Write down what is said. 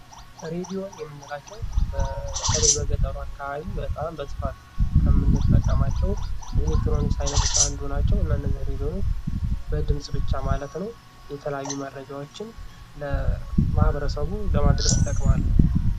ሬዲዮን የምንላቸው በተለይ በገጠሩ አካባቢ በጣም በስፋት ከምንጠቀምባቸው ኤሌክትሮኒክስ ዓይነቶች አንዱ ናቸው። እነዚህ ሬዲዮን በድምፅ ብቻ ማለት ነው የተለያዩ መረጃዎችን ለማኅበረሰቡ ለማድረስ ይጠቀማሉ።